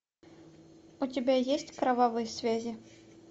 у тебя есть кровавые связи